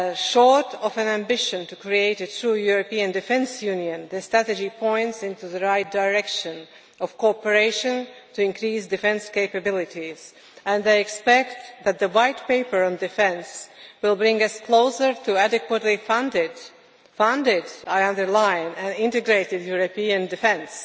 Short of an ambition to create a true European Defence Union, the strategy points in the right direction of cooperation to increase defence capabilities, with the expectation that the White Paper on defence will bring us closer to adequately funded and I underline funded' integrated European defence.